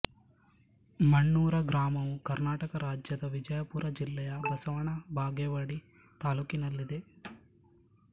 ಮಣ್ಣೂರ ಗ್ರಾಮವು ಕರ್ನಾಟಕ ರಾಜ್ಯದ ವಿಜಯಪುರ ಜಿಲ್ಲೆಯ ಬಸವನ ಬಾಗೇವಾಡಿ ತಾಲ್ಲೂಕಿನಲ್ಲಿದೆ